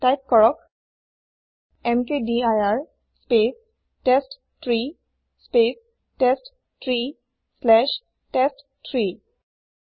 type কৰক এমকেডিৰ স্পেচ টেষ্টট্ৰী স্পেচ টেষ্টট্ৰী শ্লেচ টেষ্ট3